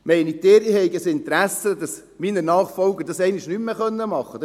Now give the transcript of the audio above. Denken Sie, ich habe ein Interesse, dass meine Nachfolger dies einmal nicht mehr machen können?